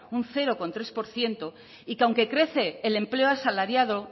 un cero coma tres por ciento y que aunque crece el empleo asalariado